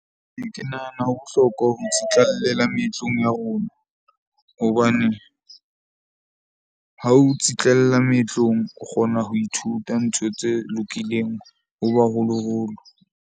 Ee, ke nahana ho bohlokwa ho itsitlallela meetlong ya rona. Hobane ha ho tsitlalla meetlong, o kgona ho ithuta ntho tse lokileng ho baholoholo.